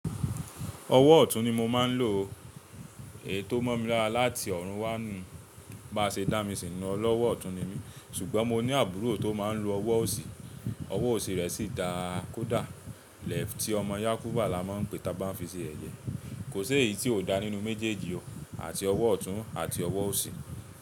Ọwọ́ ọ̀tún ni mo máa ń lò. Èyí tó mọ̀ mi láti ọ̀run wá nu, bá ṣe dá mi sì ń lọ, ọlọ́wọ́ ọ̀tún ni mí. Ṣùgbọ́n mo ní àbúrò tó máa ń lo ọwọ́ òsì, ọwọ́ òsì rẹ̀ sì dá a kó dá. Left tí ọmọ Yákúbà la máa ń pè tí a bá fi ṣe ẹ̀yẹ. Kò si eyí tí ò dá nínú méjèèjì o, àti ọwọ́ ọ̀tún àti ọwọ́ òsì.